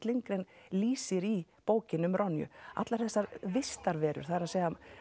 Lindgren lýsir í bókinni um allar þessar vistarverur það er